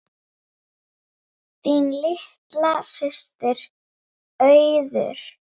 Þín litla systir, Auður.